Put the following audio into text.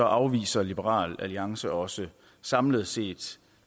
afviser liberal alliance også samlet set